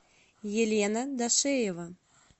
елена дашеева